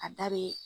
A da be